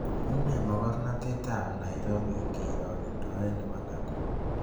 Unee mogornotet eng' nairobi ngiroktoen ne po naikuru